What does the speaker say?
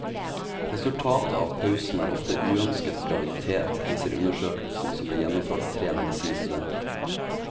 Resultatet av pausen er ofte uønsket graviditet, viser undersøkelsen som ble gjennomført at tre medisinstudenter.